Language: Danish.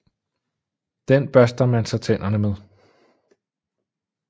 Den børster man så tænderne med